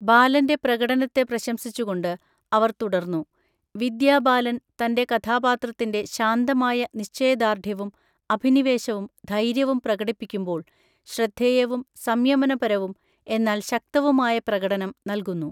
ബാലന്റെ പ്രകടനത്തെ പ്രശംസിച്ചുകൊണ്ട് അവർ തുടർന്നു, "വിദ്യാ ബാലൻ തന്റെ കഥാപാത്രത്തിന്റെ ശാന്തമായ നിശ്ചയദാർഢ്യവും അഭിനിവേശവും ധൈര്യവും പ്രകടിപ്പിക്കുമ്പോൾ ശ്രദ്ധേയവും സംയമനപരവും എന്നാൽ ശക്തവുമായ പ്രകടനം നൽകുന്നു.